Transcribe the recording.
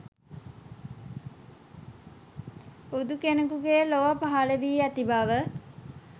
බුදු කෙනෙකුගේ ලොව පහළ වී ඇති බව